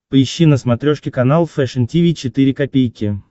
поищи на смотрешке канал фэшн ти ви четыре ка